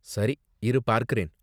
சரி, இரு பார்க்கறேன்.